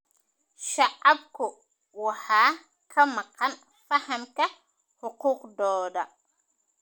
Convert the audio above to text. Shacabku waxaa ka maqan fahamka xuquuqdooda.